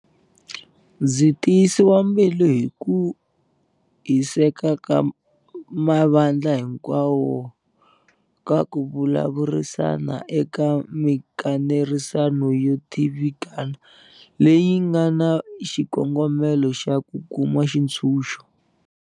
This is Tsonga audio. Ndzi tiyisiwa mbilu hi ku hiseka ka mavandla hinkwawo ka ku vulavurisana eka mikanerisano yo tivikana leyi nga na xikongomelo xa ku kuma xitshunxo.